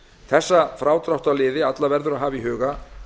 þessa frádráttarliði alla verður að hafa í huga